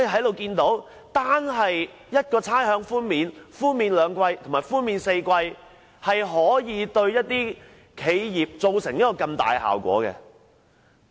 由此可見，差餉寬免兩季或4季，對企業可造成如此巨大的分別。